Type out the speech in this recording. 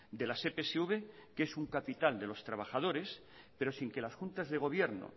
de las epsv que es un capital de los trabajadores pero sin que las juntas de gobierno